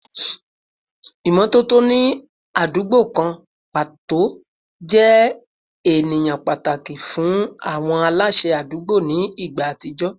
Ìmọ́tótó ní àdúgbò kan pàtó jẹ́ àníyàn pàtàkì fún àwọn aláṣẹ àdúgbò ní ìgbà àtijọ́